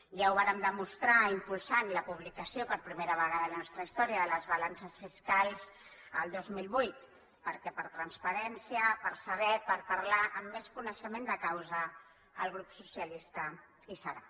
ja ho vàrem demostrar impulsant la publicació per primera vegada en la nostra història de les balances fiscals el dos mil vuit perquè per transparència per saber per parlar amb més coneixement de causa el grup socialista hi serà